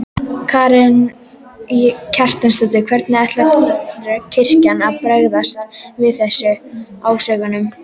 Karen Kjartansdóttir: Hvernig ætlar kirkjan að bregðast við þessum ásökunum?